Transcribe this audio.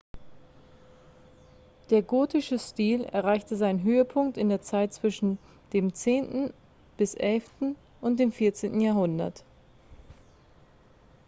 der gotische stil erreichte seinen höhepunkt in der zeit zwischen dem 10.-11. und dem 14. jahrhundert